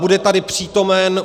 Bude tady přítomen.